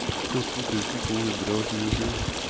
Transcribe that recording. fjorten tusen to hundre og tjuesju